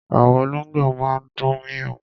Àwọn olóngbò máa ń dún méééw